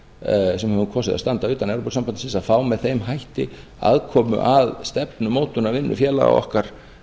íslendinga sem höfum kosið að standa utan evrópusambandsins að fá með þeim hætti aðkomu að stefnumótunarvinnu félaga okkar